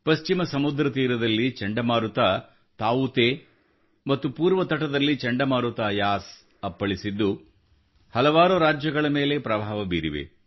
ಪಶ್ಚಿಮ ಸಮುದ್ರ ತೀರದಲ್ಲಿ ಚಂಡಮಾರುತ ತಾವುತೆ ಮತ್ತು ಪೂರ್ವ ತಟದಲ್ಲಿ ಚಂಡಮಾರುತ ಯಾಸ್ ಅಪ್ಪಳಿಸಿದ್ದು ಹಲವಾರು ರಾಜ್ಯಗಳ ಮೇಲೆ ಪ್ರಭಾವ ಬೀರಿವೆ